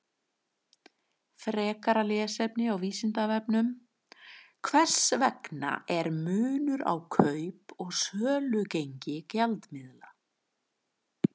Frekara lesefni á Vísindavefnum: Hvers vegna er munur á kaup- og sölugengi gjaldmiðla?